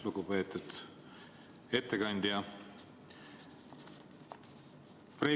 Lugupeetud ettekandja!